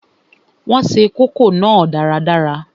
Wọn se kókò náà dáradára